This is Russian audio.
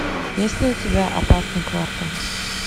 есть ли у тебя опасный квартал